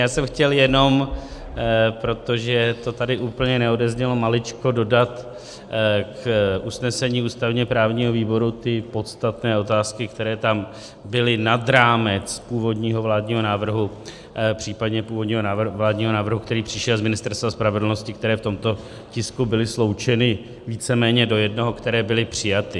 Já jsem chtěl jenom, protože to tady úplně neodeznělo, maličko dodat k usnesení ústavně-právního výboru ty podstatné otázky, které tam byly nad rámec původního vládního návrhu, případně původního vládního návrhu, který přišel z Ministerstva spravedlnosti, které v tomto tisku byly sloučeny víceméně do jednoho, které byly přijaty.